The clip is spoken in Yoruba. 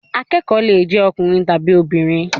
Akẹ́kọ̀ọ́ lè jé ọkùnrin tàbí obìnrin.